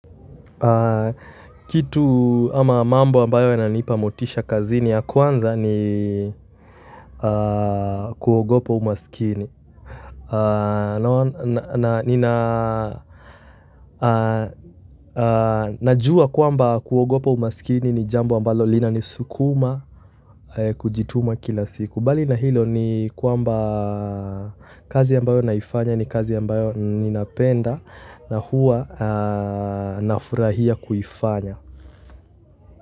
Kitu ama mambo ambayo yananipa motisha kazini ya kwanza ni kuogopa umasikini najua kwamba kuogopa umasikini ni jambo ambalo linanisukuma kujituma kila siku mbali na hilo ni kwamba kazi ambayo naifanya ni kazi ambayo ninapenda na hua nafurahia kuifanya.